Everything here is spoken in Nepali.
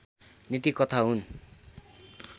नीति कथा हुन्